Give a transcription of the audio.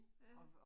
Ja